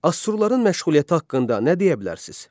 Assurların məşğuliyyəti haqqında nə deyə bilərsiz?